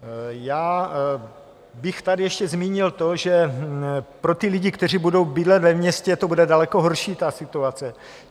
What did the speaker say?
Já bych tady ještě zmínil to, že pro ty lidi, kteří budou bydlet ve městě, to bude daleko horší, ta situace.